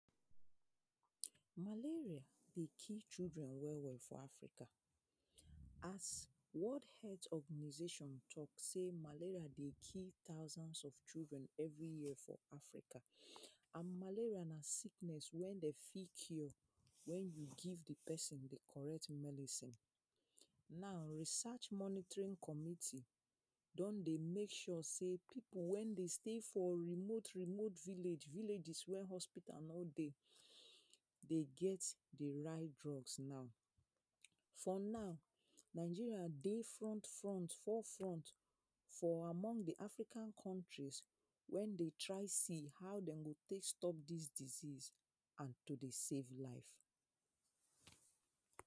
Malaria dey kill children wey wey for Africa, as world health organisation talk say malaria dey kill thousands of children every year for Africa and malaria na sickness wey dem fit cure wen you give di pesin the correct medicine. Now research monitoring community don dey make sure sey pipu wey dey stay for remote remote villages wey hospital no dey, dey get the right drugs now. For now Nigeria dey front front fore front for among di African countries wey dey try see how dem go take stop dis disease and to dey save lives.